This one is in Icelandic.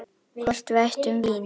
Hvort við ættum vín?